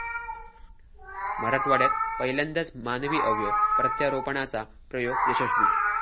मराठवाड्यात पहिल्यांदाच मानवी अवयव प्रत्यारोपणाचा प्रयोग यशस्वी